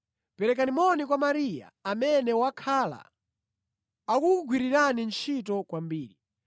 Perekani moni kwa Mariya, amene wakhala akukugwirirani ntchito kwambiri.